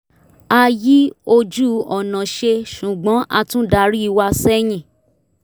a yí ojú-ọ̀nà ṣe ṣùgbọ́n a tún darí wa sẹ́yìn